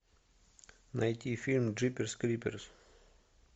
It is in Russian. найти фильм джиперс криперс